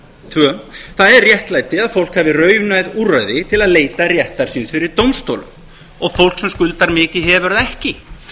tvö það er réttlæti að fólk hafi raunhæf úrræði til að leita réttar síns fyrir dómstólum og fólk sem skuldar mikið hefur það ekki